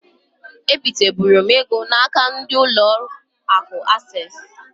E biteburu m ego na-aka ndi ụlọ akụ Ases.